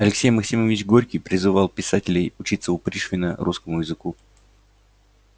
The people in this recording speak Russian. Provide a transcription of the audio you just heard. алексей максимович горький призывал писателей учиться у пришвина русскому языку